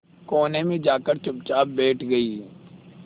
कोने में जाकर चुपचाप बैठ गई